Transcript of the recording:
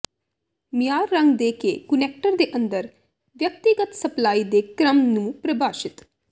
ਮਿਆਰ ਰੰਗ ਦੇ ਕੇ ਕੁਨੈਕਟਰ ਦੇ ਅੰਦਰ ਵਿਅਕਤੀਗਤ ਸਪਲਾਈ ਦੇ ਕ੍ਰਮ ਨੂੰ ਪ੍ਰਭਾਸ਼ਿਤ